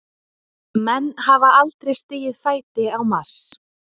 Menn hafa aldrei stigið fæti á Mars.